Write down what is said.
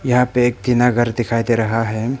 यहां पे एक टीना घर दिखाई दे रहा है।